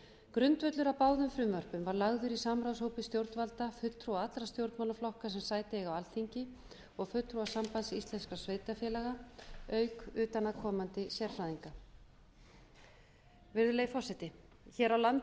grundvöllur að báðum frumvörpum var lagður í samráðshópi stjórnvalda fulltrúa allra stjórnmálaflokka sem sæti eiga á alþingi og fulltrúa sambands íslenskum sveitarfélaga auk utanaðkomandi sérfræðinga virðulegi forseti hér á landi